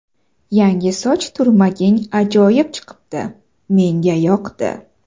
Yangi soch turmaging ajoyib chiqibdi, menga yoqdi”.